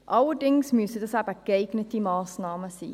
Allerdings müssen dies geeignete Massnahmen sein.